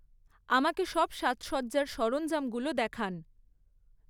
আমাকে সব সাজসজ্জার সরঞ্জামগুলো দেখান।